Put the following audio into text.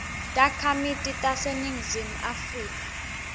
takhamiti taseningizimu afrika